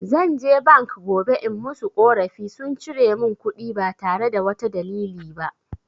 Zan je bank gobe in musu ƙorafi, sun cire mun kuɗi ba tare da wata dalili ba.